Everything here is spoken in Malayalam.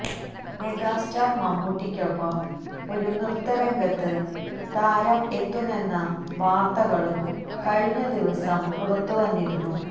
മെഗാ സ്റ്റാര് മമ്മൂട്ടിക്കൊപ്പം ഒരു നൃത്ത രംഗത്ത് താരം എത്തുന്നെന്ന വാര്ത്തകളും കഴിഞ്ഞദിവസം പുറത്തുവന്നിരുന്നു